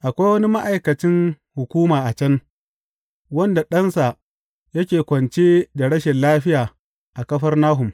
Akwai wani ma’aikacin hukuma a can wanda ɗansa yake kwance da rashin lafiya a Kafarnahum.